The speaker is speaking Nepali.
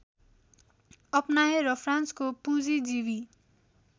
अपनाए र फ्रान्सको पुँजीजीवी